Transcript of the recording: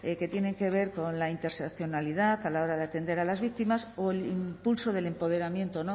que tienen que ver con la interseccionalidad a la hora de atender a las víctimas o el impulso del empoderamiento